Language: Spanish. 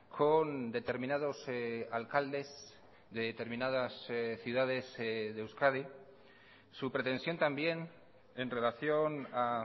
con determinados alcaldes de determinadas ciudades de euskadi su pretensión también en relación a